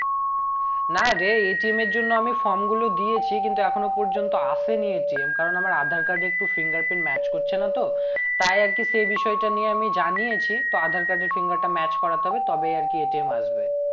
না রে এর জন্য আমি form গুলো দিয়েছি কিন্তু এখনো পর্যন্ত আসে নি কারণ আমার aadhar card এ একটু finger print match করছে না তো তাই আর কি সেই বিষয়টা নিয়ে আমি জানিয়েছি তো aadhar card এর finger টা match করাতে হবে তবেই আর কি আসবে